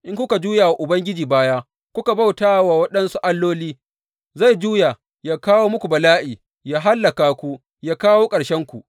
In kuka juya wa Ubangiji baya, kuka bauta wa waɗansu alloli, zai juya yă kawo muku bala’i, yă hallaka ku, yă kawo ƙarshenku.